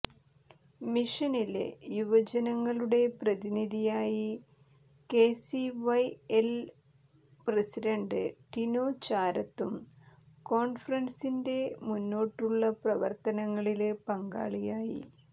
മിഷനിലെ യുവജനങ്ങളുടെ പ്രതിനിധിയായി K C Y L president Tinu ചാരത്തും കോണ്ഫ്രന്സിന്െറ മുന്നോട്ടുള്ള പ്രവര്ത്തനങ്ങളില് പങ്കാളികളായി